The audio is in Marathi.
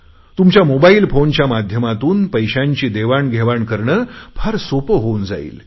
तुमच्या मोबाईल फोनच्या माध्यमातून पैशाची देवाणघेवाण करणे फार सोपे होऊन जाईल